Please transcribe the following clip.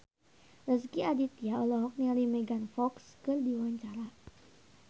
Rezky Aditya olohok ningali Megan Fox keur diwawancara